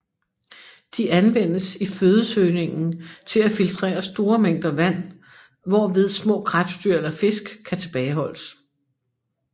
De anvendes i fødesøgningen til at filtrere store mængder vand hvorved små krebsdyr eller fisk kan tilbageholdes